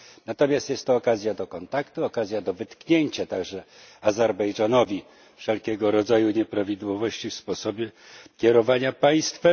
Natomiast jest to okazja do kontaktu, okazja do wytknięcia także Azerbejdżanowi wszelkiego rodzaju nieprawidłowości w sposobie kierowania państwem.